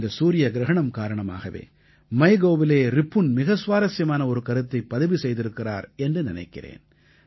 இந்த சூரிய கிரஹணம் காரணமாகவே MYGOVஇலே ரிபுன் மிக சுவாரசியமான ஒரு கருத்தைப் பதிவு செய்திருக்கிறார் என்று நினைக்கிறேன்